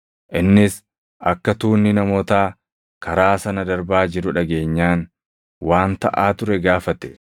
Innis akka tuunni namootaa karaa sana darbaa jiru dhageenyaan, waan taʼaa ture gaafate.